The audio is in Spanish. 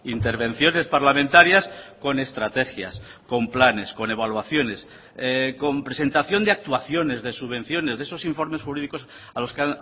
intervenciones parlamentarias con estrategias con planes con evaluaciones con presentación de actuaciones de subvenciones de esos informes jurídicos a los que